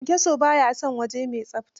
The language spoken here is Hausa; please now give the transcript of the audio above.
Kyanyaso ba ya son waje mai tsafta